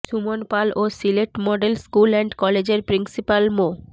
সুমন পাল ও Sylhet model school and কলেজের principal মো